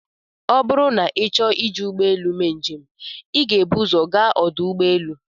Ọ bụrụ na ịchọọ iji ụgbọelụ mee njem, ị ga-ebu ụzọ gaa ọdụ ụgbọelụ.